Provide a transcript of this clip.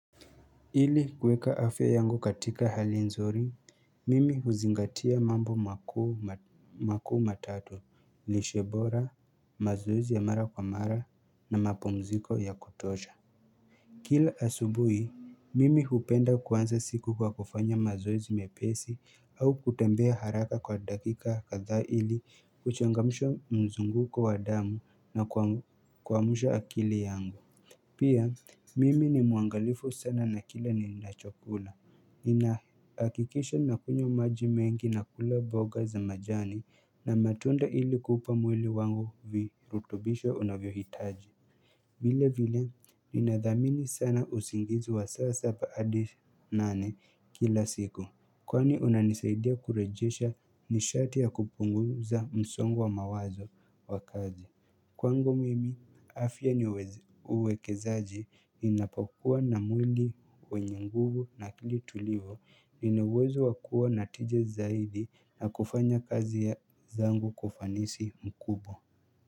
Ili kuweka afya yangu katika hali nzuri, mimi huzingatia mambo makuu ma makuu matatu, lishe bora, mazoezi ya mara kwa mara na mapumziko ya kutosha. Kila asubuhi, mimi hupenda kuanza siku kwa kufanya mazoezi mepesi au kutembea haraka kwa dakika kadhaa ili kuchangamsha mzunguko wa damu na kuamsha akili yangu. Pia, mimi ni muangalifu sana na kila ninachokula. Ninaakikisha nakunywa maji mengi nakula boga za majani na matunda ili kupa mwili wangu virutubisho unavyohitaji. Vile vile, ninadhamini sana usingizi wa saa saba adi nane kila siku. Kwani unanisaidia kurejesha nishati ya kupunguza msongo wa mawazo wa kazi. Kwangu mimi, afya niuwezo uwekezaji ninapokuwa na mwili wenye nguvu na akili tulivu ina uwezo wa kuwa na tija zaidi na kufanya kazi ya zangu kwa kufanisi mkubwa.